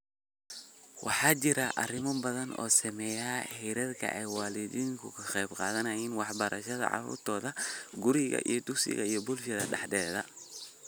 Waxaa jira arrimo badan oo saameeya heerka ay waalidiintu ka qayb qaadanayaan waxbarashada caruurtooda guriga, dugsiga iyo bulshada dhexdeeda.